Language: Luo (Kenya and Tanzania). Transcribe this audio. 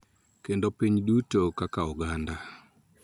Kendo piny duto kaka oganda.